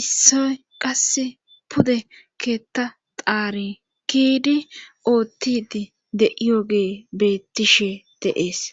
issoy qasse pude keetta xaarinkidi oottidi de7iyo gee beettishe deees